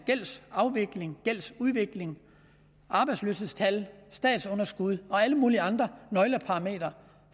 gældsafvikling gældsudvikling arbejdsløshedstal statsunderskud og alle mulige andre nøgletal